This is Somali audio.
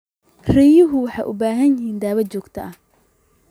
Riyuhu waxay u baahan yihiin daaweyn joogto ah.